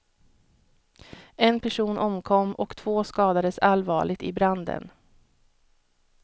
En person omkom och två skadades allvarligt i branden.